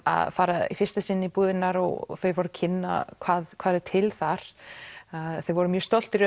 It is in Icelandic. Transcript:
að fara í fyrsta sinn búðirnar og þau voru að kynna hvað væri til þar þeir voru mjög stoltir